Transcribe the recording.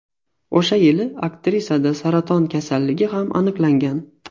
O‘sha yili aktrisada saraton kasalligi ham aniqlangan.